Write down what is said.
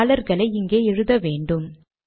டாலர்களை இங்கே எழுத வேன்டும்